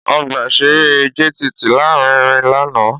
Ọgbà-ìṣeré JTT lárinrin lánàá